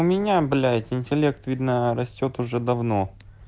у меня блять интеллект видно растёт уже давно